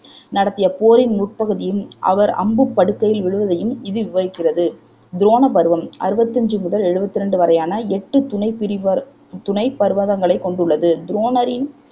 நடத்திய போரின் முற்பகுதியும் அவர் அம்புப் படுக்கையில் விழுவதையும் இது விவரிக்கிறது துரோண பருவம் அறுபத்தஞ்சு முதல் எழுவத்தி ரெண்டு வரையான எட்டு துணைப் பிரிவர் துணைப் பர்வங்களை கொண்டுள்ளது துரோணரின்